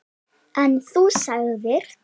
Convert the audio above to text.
En þú sagðir.